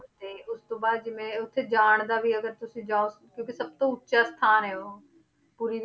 ਤੇ ਉਸ ਤੋਂ ਬਾਅਦ ਜਿਵੇਂ ਉੱਥੇ ਜਾਣ ਦਾ ਵੀ ਅਗਰ ਤੁਸੀਂ ਜਾਓ ਕਿਉਂਕਿ ਸਭ ਤੋਂ ਉੱਚਾ ਸਥਾਨ ਹੈ ਉਹ ਪੁਰੀ